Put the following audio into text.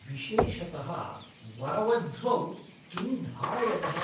विशेषतः वरवध्वौ किं धारयतः?